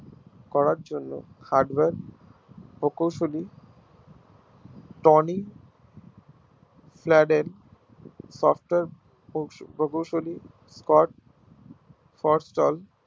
করার জন্য hardware ও কৌশলী